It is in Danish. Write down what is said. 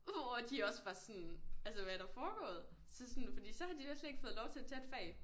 Hvor at de også var sådan altså hvad er der foregået så sådan fordi så har de næsten ikke fået lov til at tage et fag